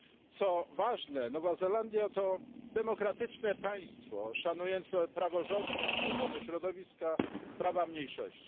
Co ważne Nowa Zelandia to demokratyczne państwo szanujące praworządność, ochronę środowiska, prawa mniejszości.